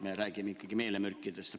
Me räägime ikkagi meelemürkidest.